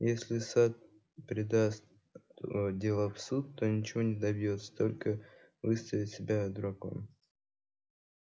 если сатт передаст ээ дело в суд то ничего не добьётся только выставит себя дураком